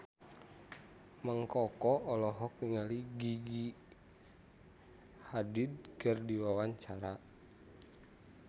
Mang Koko olohok ningali Gigi Hadid keur diwawancara